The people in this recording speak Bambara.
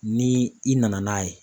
Ni i nana n'a ye